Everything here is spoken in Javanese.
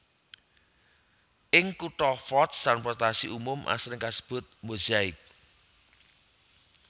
Ing kutha Fort transportasi umum asring kasebut Mozaik